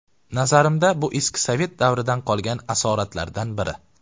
Nazarimda, bu eski sovet davridan qolgan asoratlardan biri.